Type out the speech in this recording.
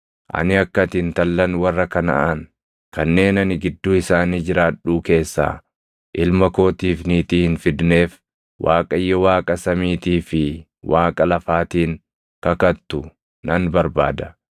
Ani akka ati intallan warra Kanaʼaan kanneen ani gidduu isaanii jiraadhuu keessaa ilma kootiif niitii hin fidneef Waaqayyo Waaqa samiitii fi Waaqa lafaatiin kakattu nan barbaada;